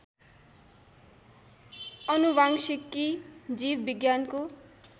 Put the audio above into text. अनुवांशिकी जीव विज्ञानको